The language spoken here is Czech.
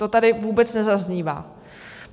To tady vůbec nezaznívá.